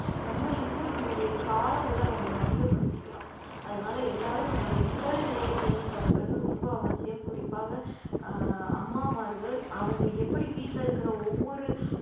நம்ம இன்னும் நம்மளுடைய காலங்கள நம்ம அதிகப்படுத்திக்கலாம் அதனால எல்லாரும் நம்மளுடைய உடல்நிலையை பேணிக் காப்பது ரொம்ப அவசியம் குறிப்பாக ஆஹ் அம்மாமார்கள் அவங்க எப்படி வீட்டிலே இருக்கிற ஒவ்வொரு